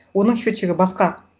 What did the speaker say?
оның счетчигі басқа